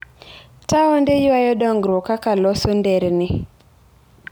Taonde ywayo dongruok kaka loso nderni.